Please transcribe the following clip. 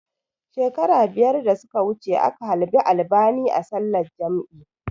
Shekaru biyar da suka wuce aka halbi albani a sallar jam'i